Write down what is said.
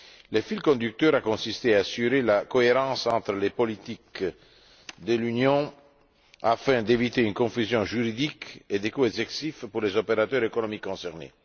Le fil conducteur a consisté à assurer la cohérence entre les politiques de l'Union afin d'éviter une confusion juridique et des coûts excessifs pour les opérateurs économiques concernés.